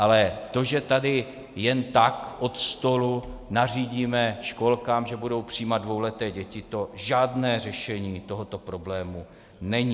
Ale to, že tady jen tak od stolu nařídíme školkám, že budou přijímat dvouleté děti, to žádné řešení tohoto problému není.